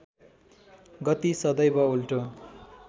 गति सदैव उल्टो